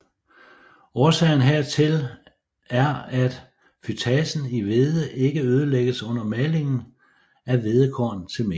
Årsagen hertil er at fytasen i hvede ikke ødelægges under malingen af hvedekorn til mel